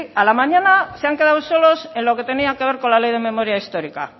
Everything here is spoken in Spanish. a la mañana se han quedado solos en lo que tenía que ver con la ley de memoria histórica